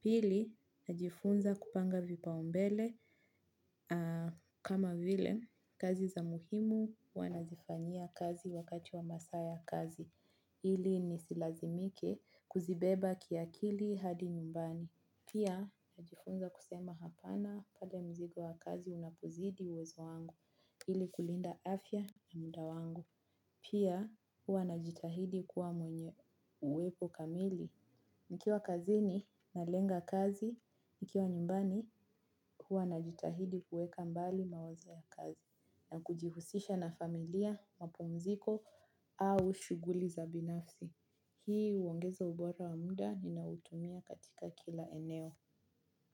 Pili, najifunza kupanga vipaombele kama vile kazi za muhimu huwa nazifanyia kazi wakati wa masaa ya kazi. Ili nisilazimike kuzibeba kiakili hadi nyumbani. Pia, najifunza kusema hapana pale mzigo wa kazi unapozidi uwezo wangu. Ili kulinda afya na muda wangu. Pia hua najitahidi kuwa mwenye uwepo kamili. Nikiwa kazini nalenga kazi, nikiwa nyumbani hua najitahidi kuweka mbali mawazo ya kazi. Na kujihusisha na familia, mapumziko au shughuli za binafsi. Hii huongeza ubora wa muda ninaoutumia katika kila eneo.